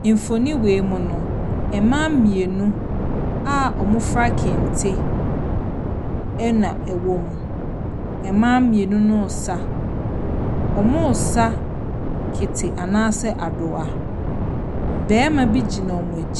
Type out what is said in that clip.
Mfonin wei mu no, mmaa mmienu a wɔfura kente na ɛwɔ mu. Mmaa mmienu no ɛresa, wɔresa Kete anaa sɛ Adoa. Barima bi gyina wɔn a .